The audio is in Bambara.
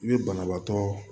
I bɛ banabaatɔ